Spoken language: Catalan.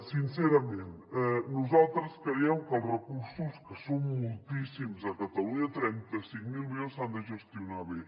sincerament nosaltres creiem que els recursos que són moltíssims a catalunya trenta cinc mil milions s’han de gestionar bé